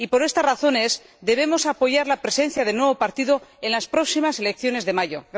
Por estas razones, debemos apoyar la presencia del nuevo partido en las próximas elecciones de mayo.